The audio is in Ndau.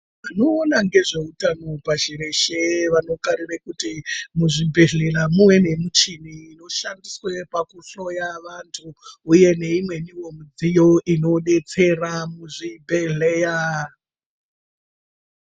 Vanoona ngezveutano pashi reshe vanokarira kuti muzvibhehlera muve nemuchini inoshandiswa pakuhloya vandu, uye neimweniwo mudziyo inodetsera kuzvibhehlera.